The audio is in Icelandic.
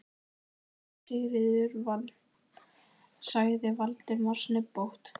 Konan mín, Sigríður sagði Valdimar snubbótt.